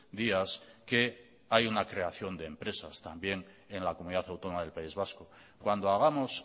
días que hay una creación de empresas también en la comunidad autónoma del país vasco cuando hagamos